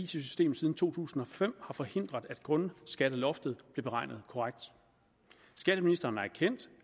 systemet siden to tusind og fem har forhindret at grundskatteloftet blev beregnet korrekt skatteministeren har erkendt